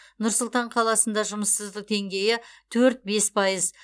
нұр сұлтан қаласында жұмыссыздық деңгейі төрт бес пайыз